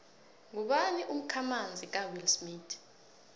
ngubani umkhamanzi kawillsmith